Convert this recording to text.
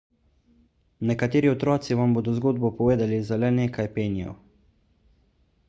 nekateri otroci vam bodo zgodbo povedali za le nekaj penijev